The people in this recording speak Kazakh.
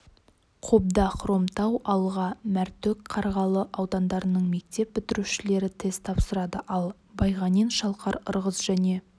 қобда хромтау алға мәртөк қарғалы аудандарының мектеп бітірушілері тест тапсырады ал байғанин шалқар ырғыз және